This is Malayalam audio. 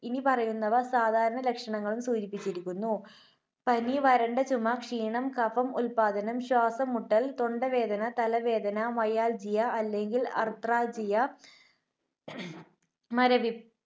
ഇനിപ്പറയുന്നവ സാധാരണ ലക്ഷണങ്ങളും സൂചിപ്പിച്ചിരിക്കുന്നു. പനി, വരണ്ട ചുമ, ക്ഷീണം, കഫം ഉത്പാദനം, ശ്വാസം മുട്ടൽ, തൊണ്ടവേദന, തലവേദന, Myalgia അല്ലെങ്കിൽ Arthralgia, മരവി~